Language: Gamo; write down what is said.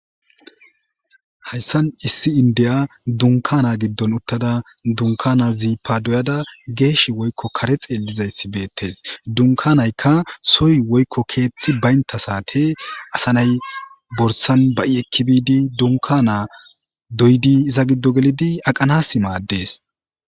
Haysan issi indiya dunkana giddon uttada dunkana zipa doyada geesh woykko kare xeelixaysi betes. Dumkanayka sohoy woykko keethi banta saate asa nayi borsan ba'i eki bidi dunkana doyid iza gidon aqanas mades.